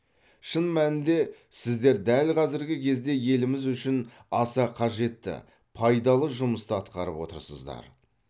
шын мәнінде сіздер дәл қазіргі кезде еліміз үшін аса қажетті пайдалы жұмысты атқарып отырсыздар